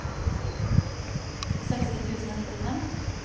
seksti tusen og nittifem